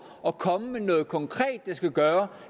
at komme med noget konkret der skulle gøre